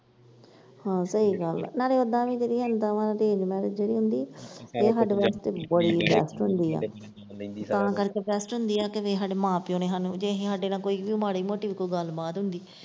ਹਾਂ ਸਹੀ ਗੱਲ ਆ ਨਾਲੇ ਓਦਾਂ ਵਾਂ ਕਿ arrange marriage ਜਿਹੜੀ ਹੁੰਦੀ ਇਹ ਬੜੀ test ਹੁੰਦੀ ਆ ਤਾਂ ਕਰਕੇ test ਹੁੰਦੀ ਆ ਕਿ ਸਾਡੇ ਮਾਂ ਪਿਓ ਸਾਨੂੰ ਜੇ ਕੋਈ ਸਾਡੇ ਨਾਲ ਕੋਈ ਵੀ ਮਾੜੀ ਮੋਟੀ ਵੀ ਗੱਲਬਾਤ ਹੁੰਦੀ।